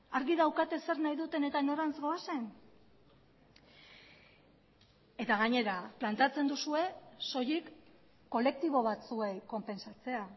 argi daukate zer nahi duten eta norantz goazen eta gainera planteatzen duzue soilik kolektibo batzuei konpentsatzea